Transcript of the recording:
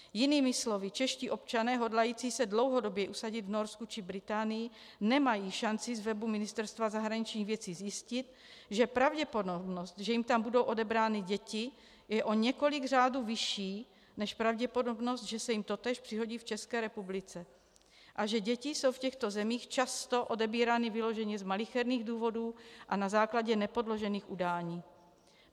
Jinými slovy, čeští občané hodlající se dlouhodobě usadit v Norsku či Británii nemají šanci z webu Ministerstva zahraničních věcí zjistit, že pravděpodobnost, že jim tam budou odebrány děti, je o několik řádů vyšší než pravděpodobnost, že se jim totéž přihodí v České republice, a že děti jsou v těchto zemích často odebírány vyloženě z malicherných důvodů a na základě nepodložených udání.